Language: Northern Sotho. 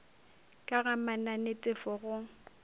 ka ga mananetefo a go